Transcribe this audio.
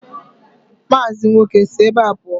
Mazi nwoke, si ebe a pụọ!